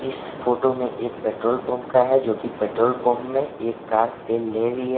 इस फोटो में एक पेट्रोल पंप का है जो कि पेट्रोल पंप में एक कार तेल ले रही है।